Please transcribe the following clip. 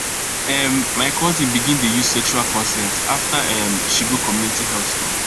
um my cousin begin dey use sexual consent after um she go community health talk